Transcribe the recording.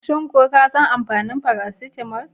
Shin ko ka san amfanin faracitamol?